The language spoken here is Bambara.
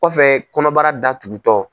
Kɔfɛ kɔnɔbara datugu tɔ.